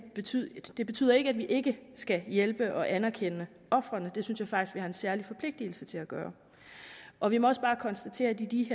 betyder det betyder ikke at vi ikke skal hjælpe og anerkende ofrene det synes jeg faktisk vi har en særlig forpligtelse til at gøre og vi må også bare konstatere at i